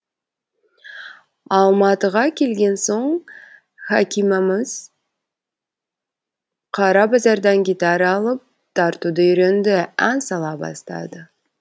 алматыға келген соң хәкимамыз қара базардан гитара алып тартуды үйренді ән сала бастады